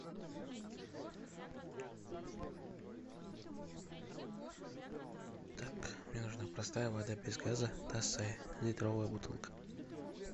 так мне нужна простая вода без газа тасай литровая бутылка